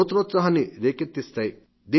నూతనోత్సహాన్ని రేకెత్తించగలవు